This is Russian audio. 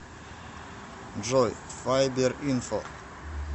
джой файберинфо